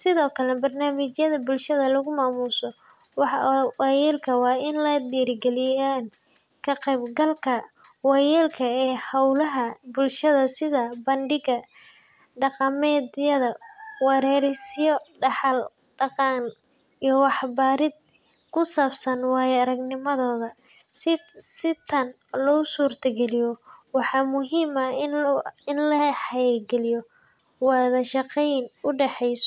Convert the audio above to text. Sidoo kale, barnaamijyada bulshada lagu maamuuso waayeelka waa in ay dhiirrigeliyaan ka qaybgalka waayeelka ee hawlaha bulshada sida bandhig dhaqameedyo, wareysiyo dhaxal-dhaqan, iyo waxbarid ku saabsan waayo-aragnimadooda. Si tan loo suurtageliyo, waxaa muhiim ah in la xoojiyo wada shaqeynta u dhexeyso.